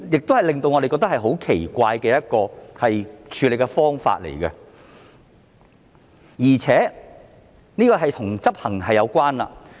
這是令我們感到很奇怪的一種處理方法，而且這亦與執行有關。